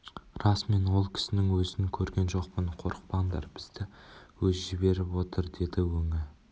рас мен ол кісінің өзін көрген жоқпын қорықпаңдар бізді өзі жіберіп отыр деді өңі